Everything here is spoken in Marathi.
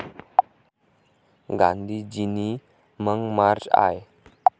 गांधीजीनी मग मार्च आय.